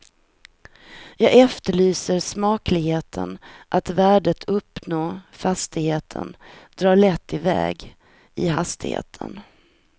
Jag efterlyser smakligheten att värdet uppå fastigheten drar lätt iväg i hastigheten.